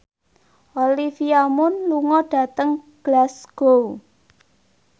Olivia Munn lunga dhateng Glasgow